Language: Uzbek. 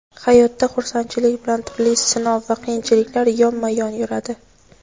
Hayotda xursandchilik bilan turli sinov va qiyinchiliklar yonma-yon yuradi.